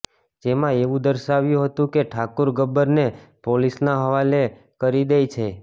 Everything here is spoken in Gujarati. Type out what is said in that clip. જેમાં એવું દર્શાવાયું હતું કે ઠાકુર ગબ્બરને પોલીસના હવાલે કરી દે છે